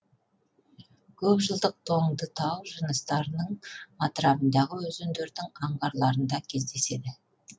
көп жылдық тоңдытау жыныстарының атырабындағы өзендердің аңғарларында кездеседі